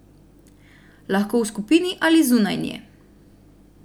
Lahko v skupini ali zunaj nje.